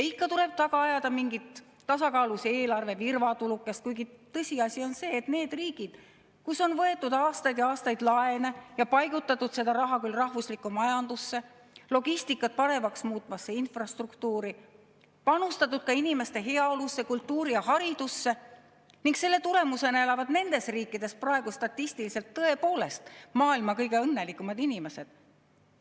Ikka tuleb taga ajada mingit tasakaalus eelarve virvatulukest, kuigi tõsiasi on see, et nendes riikides, kus on võetud aastaid ja aastaid laene ja paigutatud seda raha küll majandusse, logistikat paremaks muutvasse infrastruktuuri, panustatud ka inimeste heaolusse, kultuuri ja haridusse, elavad selle tulemusena praegu statistiliselt võttes tõepoolest maailma kõige õnnelikumad inimesed.